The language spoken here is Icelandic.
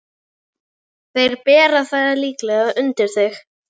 Þeir bera það líklega undir þig.